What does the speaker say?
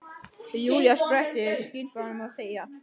Og Júlía spratt upp, skipaði honum að þegja.